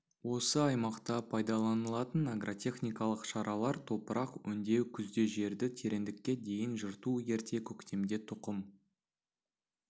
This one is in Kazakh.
осы аймақта пайдаланылатын агротехникалар шаралар топырақ өңдеу күзде жерді тереңдікке дейін жырту ерте көктемде тұқым